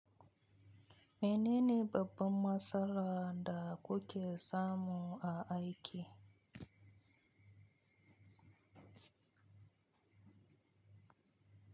Menene babban matsalar da kuke samu a aiki?